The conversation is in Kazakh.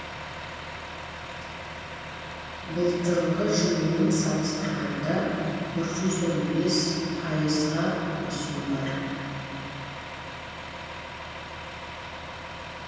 былтырғы жылмен салыстырғанда бір жүз он бес пайызға өсім бар